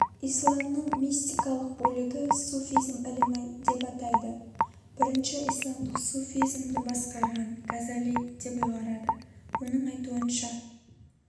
исламның мистикалык бөлігі суфизм ілімі деп атайды бірінші исламдық суфизімді басқарған газали деп ұйғарады оның айтуынша